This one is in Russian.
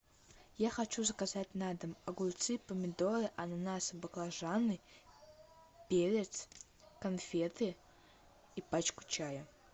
я хочу заказать на дом огурцы помидоры ананасы баклажаны перец конфеты и пачку чая